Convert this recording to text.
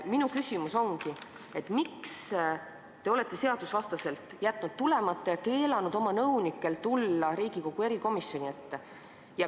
Minu küsimus ongi see, et miks te olete seadusvastaselt jätnud tulemata ja keelanud ka oma nõunikel tulla Riigikogu erikomisjoni ette.